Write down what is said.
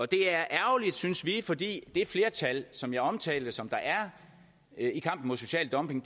det er ærgerligt synes vi fordi det flertal som jeg omtalte som der er i kampen mod social dumping